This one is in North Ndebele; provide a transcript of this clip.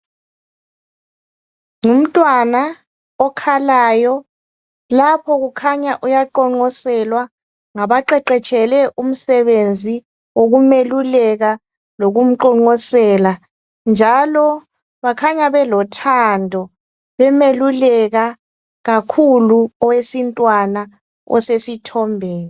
Ngumntwana okhalayo lapho kukhanya uyaqonqoselwa ngabaqeqetshele umsebenzi wokumeluleka lokumqonqosela njalo bakhanya belothando bemeluleka kakhulu owesintwana osesithombeni.